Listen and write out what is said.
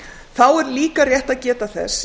þá er líka rétt að geta þess